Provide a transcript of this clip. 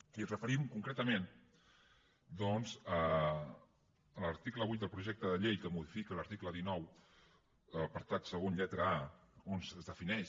i ens referim concretament doncs a l’article vuit del projecte de llei que modifica l’article dinou apartat segon lletra a on es defineix